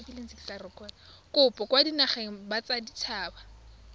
kopo kwa dinageng tsa baditshaba